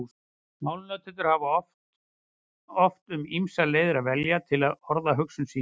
Málnotendur hafa oft um ýmsar leiðir að velja til að orða hugsun sína.